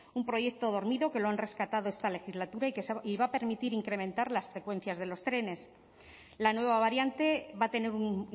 un proyecto dormido que lo han rescatado esta legislatura y que va a permitir incrementar las frecuencias de los trenes la nueva variante va a tener un